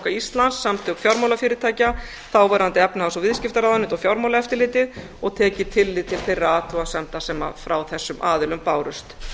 íslands samtök fjármálafyrirtækja þáverandi efnahags og viðskiptaráðuneyti og fjármálaeftirlitið og tekið tillit til þeirra athugasemda sem frá þessum aðilum bárust